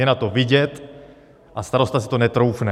Je na to vidět a starosta si to netroufne.